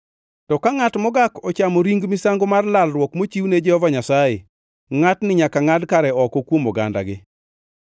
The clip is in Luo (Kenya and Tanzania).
To ka ngʼat mogak ochamo ring misango mar lalruok mochiwne Jehova Nyasaye, ngʼatni nyaka ngʼad kare oko kuom ogandagi.